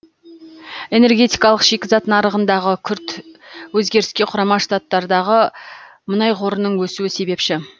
энергетикалық шикізат нарығындағы күрт өзгеріске құрама штаттардағы мұнай қорының өсуі себепші